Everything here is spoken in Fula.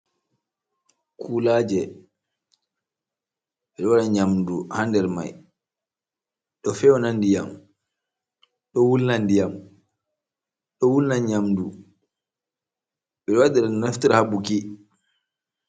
kulaje, ɓedo waɗa nyamdu ha nder mai, do fewna nɗiyam, do wulna nɗiyam, do wulna nyamdu, ɓedo waɗira no naftira ha buki.